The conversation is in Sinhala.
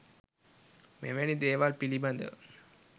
මෙවැනි දේවල් පිළිබඳව